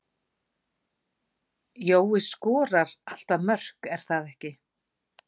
Jói skorar alltaf mörk er það ekki?